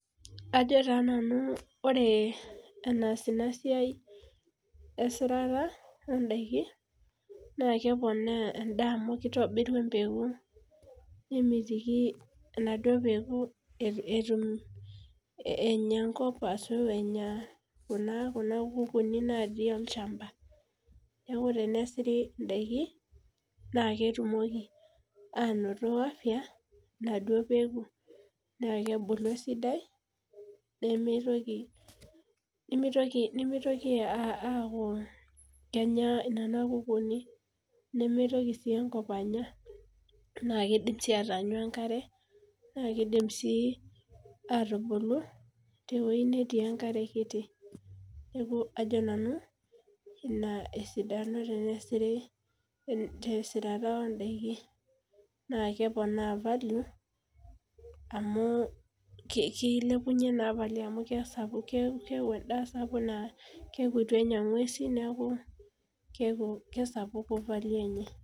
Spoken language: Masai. Ajo taa nanu ore enaas inasia esirara ondakin nakepona endaa amu kitobiri empeku nemiti enaduo peku enya enkop ashu enya kuna kukuni natii olchamba na ketumi ainoto afya enaduo peku na kebulu esidai nimitoki aaku kenya nona kukuuni na kidim ataanyu enkare na kidim atubulu tewoi natii enkare kiti ajo nanu ina esidano tenesiri tesirara nakeponaa value amu kilepumye amu kesapuk keaku ituenya ngwesi neaku kesapuku value enye